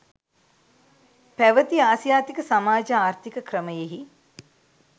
පැවති ආසියාතික සමාජ ආර්ථීක ක්‍රමයෙහි